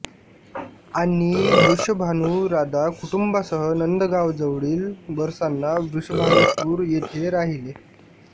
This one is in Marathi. आणि वृषभानु राधा कुटूंबासह नंदगावजवळील बरसाना वृषभानुपुर येथे राहिले